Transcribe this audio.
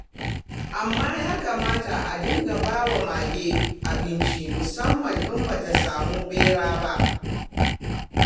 Amma ya kamata a dinga ba wa mage abinci, musamman in ba ta samu ɓera ba.